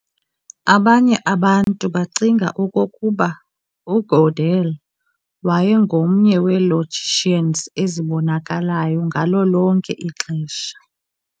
Abanye abantu bacinga okokuba uGödel wayengomnye welogicians ezibonakalayo ngalo lonke ixesha.